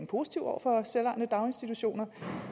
positive over for selvejende daginstitutioner